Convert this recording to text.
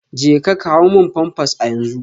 Jeka kawo pampers a yanzu